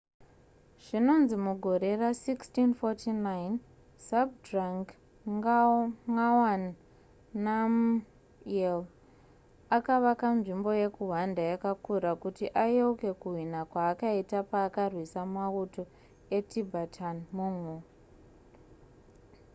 zvinonzi mugore ra1649 zhabdrung ngawang namgyel akavaka nzvimbo yekuhwanda yakakura yekuti ayeuke kuhwina kwaakaita paakarwisa mauto etibetan-mongol